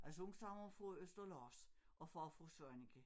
Altså hun stammer fra Østerlars og far fra Svaneke